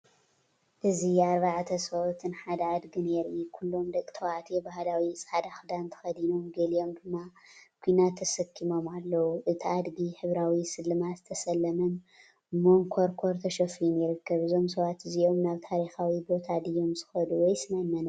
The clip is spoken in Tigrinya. እዚ ኣርባዕተ ሰብኡትን ሓደ ኣድጊን የርኢ። ኩሎም ደቂ ተባዕትዮ ባህላዊ ጻዕዳ ክዳን ተኸዲኖም፡ ገሊኦም ድማ ኲናት ተሰኪሞም ኣለዉ። እቲ ኣድጊ ሕብራዊ ስልማት ዝተሰለመን መንኰርኰር ተሸፊኑ ይርከብ። እዞም ሰባት እዚኦም ናብ ታሪኻዊ ቦታ ድዮም ዝኸድ ወይስ ናብ መንበሪ ገዛ?